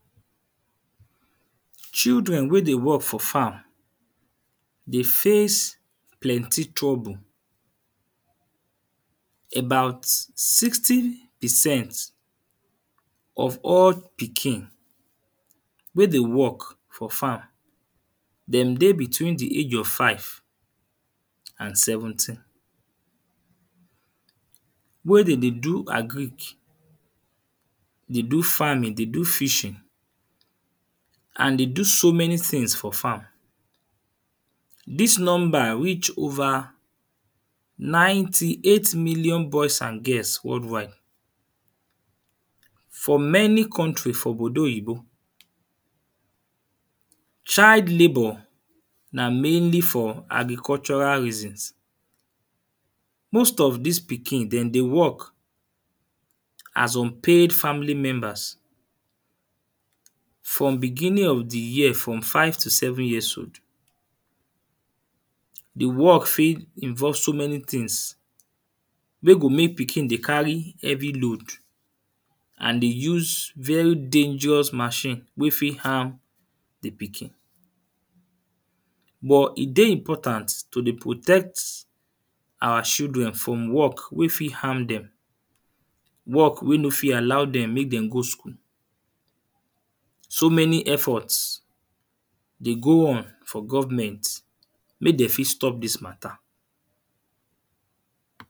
Children wey dey work for farm dey face lenty trouble. About sixty percent off all pikin wey dey work for farm dem dey between the age of five and seventeen. Where de dey do agric, dey do farming, dey do fishing and they do so many things for farm. Dis number reach over ninety eight million boys and girls world wide. For many country for Obodo Oyinbo child labour na mainly for agricultural reasons. Most of dis pikin dem dey work as unpaid family members. From begining of the year. From five to seven years old. The work fit involve so many things wey go make pikin dey carry heavy load. And they use very dangerous machine wey fit harm the pikin. But e dey important to dey protect our children from work wey fit harm dem. Work wey no fit allow dem make dem go school. So many effort dey go on for government wey de fit stop dis matter.